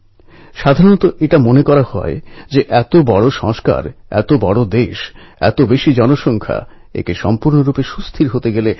ওঁর সঙ্গে সুন্দর সিং গুর্জরও জ্যাভলিন থ্রোয়িংয়ে স্বর্ণপদক জেতেন